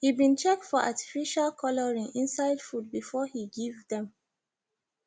he been check for artificial colouring inside food before he give them